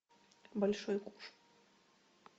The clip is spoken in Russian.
большой куш